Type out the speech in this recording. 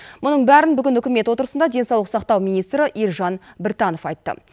мұның бәрін бүгін үкімет отырысында денсаулық сақтау министрі елжан біртанов айтты